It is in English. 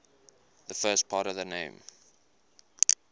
the first part of the name